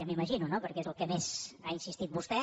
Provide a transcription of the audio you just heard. m’ho imagino no perquè és en el que més ha insistit vostè